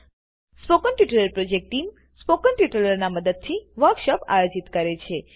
spoken tutorial project team spoken ટ્યુટોરીયલોનાં ઉપયોગથી વર્કશોપોનું આયોજન કરે છે